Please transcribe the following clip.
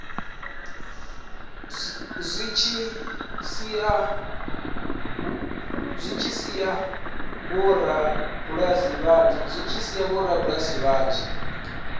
zwi tshi sia vhorabulasi vhanzhi